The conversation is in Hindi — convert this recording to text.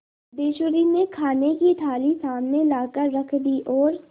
सिद्धेश्वरी ने खाने की थाली सामने लाकर रख दी और